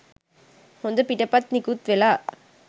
හොඳ පිටපත් නිකුත් වෙලා